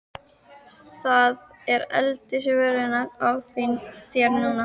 Það er aldeilis völlurinn á þér núna!